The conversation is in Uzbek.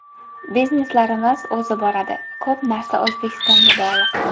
Bizneslarimiz o‘zi boradi… Ko‘p narsa O‘zbekistonga bog‘liq.